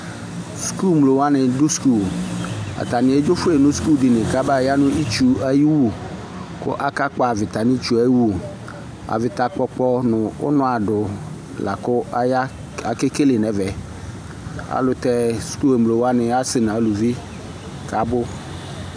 Sukul mlo wani du sukul atani edzofue nu sukul dinye ku abaya nu itsu ayiwu ku akakpɔ avita nitsue wu avita kpɔkpɔ nu unɔ adu la ku aya kakekele nɛvɛ alu tɛ sukul mlowani asɛ nu aluvi kabu